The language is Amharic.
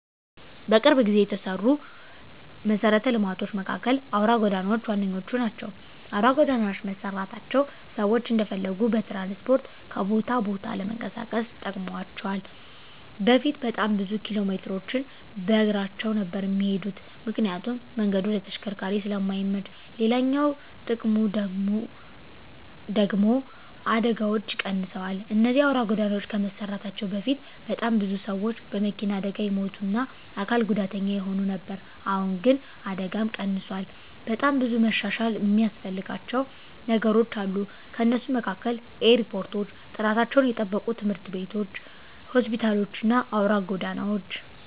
በቅርብ ጊዜ የተሰሩ መሰረተ ልማቶች መካከል አውራ ጎዳናዎች ዋነኞቹ ናቸው። አውራ ጎዳናዎች መሰራታቸው ሰዎች እንደፈለጉ በትራንስፖርት ከቦታ ቦታ ለመንቀሳቀስ ጠቅሟቸዋል በፊት በጣም ብዙ ኪሎሜትሮችን በእግራቸው ነበር እሚሄዱት ምክንያቱም መንገዱ ለተሽከርካሪዎች ስለማይመች፤ ሌላኛው ጥቅሙ ደግሙ ደግሞ አደጋዎች ቀንሰዋል እነዚህ አውራ ጎዳናዎች ከመሰራታቸው በፊት በጣም ብዙ ሰዎች በመኪና አደጋ ይሞቱ እና አካል ጉዳተኛ ይሆኑ ነበር አሁን ግን ይህ አደጋም ቀንሷል። በጣም ብዙ መሻሻል እሚያስፈልጋቸው ነገሮች አሉ ከነሱም መካከል ኤርፖርቶች፣ ጥራታቸውን የጠበቁ ትምህርት ቤቶች፣ ሆስፒታሎች እና አውራ ጎዳናዎች።